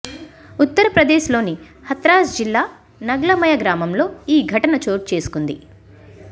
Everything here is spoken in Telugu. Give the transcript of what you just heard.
ఉత్తరప్రదేశ్లోని హత్రాస్ జిల్లా నగ్లమయ గ్రామంలో ఈ ఘటన చోటు చేసుకుంది